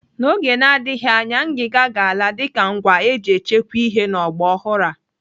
N'oge na-adịghị anya, ngiga ga-ala dịka ngwa eji echekwa ihe n'ogba ọhụrụ a.